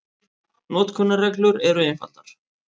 Notkunarreglur eru einfaldar.